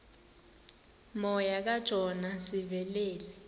moya kajona sivelele